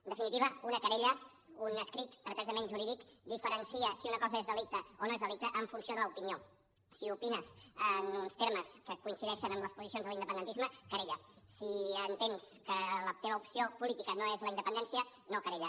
en definitiva una querella un escrit pretesament jurídic diferencia si una cosa és delicte o no és delicte en funció de l’opinió si opines en uns termes que coincideixen amb les posicions de l’independentisme querella si entens que la teva opció política no és la independència no querella